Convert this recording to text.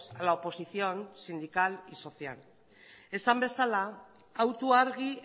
a la oposición sindical y social esan bezala autu argi